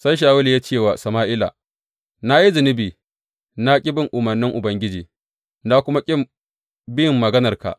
Sai Shawulu ya ce wa Sama’ila, Na yi zunubi, na ƙi bin umarnin Ubangiji, na kuma ƙi bin maganarka.